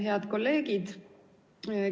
Head kolleegid!